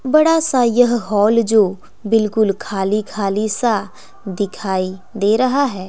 बड़ा सा यह हॉल जो बिल्कुल खाली खाली सा दिखाई दे रहा है।